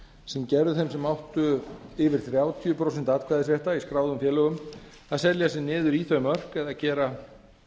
sem gerðu þeim sem áttu yfir þrjátíu prósent atkvæðisréttar í skráðum félögum kleift að selja sig niður í þau mörk eða gera